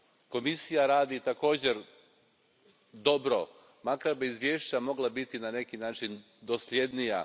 Komisija radi također dobro, makar bi izvješća mogla biti na neki način dosljednija.